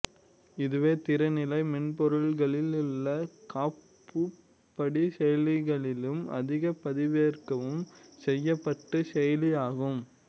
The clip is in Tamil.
இதுவே திறநிலை மென்பொருள்களிலுள்ள காப்புப்படி செயலிகளில் அதிக பதிவிறக்கம் செய்யப்பட்ட செயலி ஆகும்